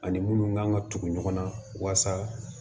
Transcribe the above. Ani minnu kan ka tugu ɲɔgɔn na walasa